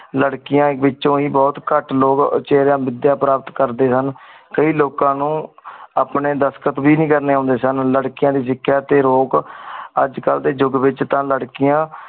ਲੇਰ੍ਕੀਆਂ ਵੇਚ ਬੁਹਤ ਕਤ ਲੋਗ ਚਿਰੀਂ ਵੇਦਾ ਪੇਰਾਮਤ ਕਰ ਡੀ ਹਨ ਕੀਈ ਲੋਕਾ ਨੂ ਅਪਨੀ ਦਸਖਤ ਵੇ ਨੀ ਕਰਨੀ ਨੁੰਡੀ ਸਨ ਲਾਰ੍ਕ੍ਯ ਆਂ ਨੀ ਸਿਖੇਯਾ ਅਜੇ ਕਲ ਡੀ ਜੁਗਹ ਵੇਚ ਲਾਰ੍ਕੇਆਂ